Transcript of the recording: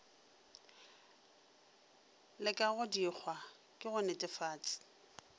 le kagodikgwa ke go netefat